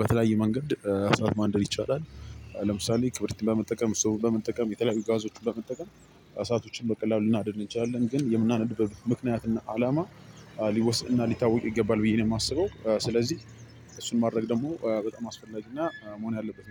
በተለያየ መንገድ እሳት ማንደድ ይቻላል። ለምሳሌ ክብሪትን በመጠቀም እስቶቭን በመጠቀም የተለያዩ ጋዞችን በመጠቀም። እሳቶችን በቀላሉ ልናነድ እንችላለን ግን የምናነድበት ምክንያት እና አላማ ሊወሰን እና ሊታወቅ ይገባል ብዬ ነው የማስበው። ስለዚህ እሱን ማድረግ ደግሞ በጣም አስፈላጊና መሆን ያለበት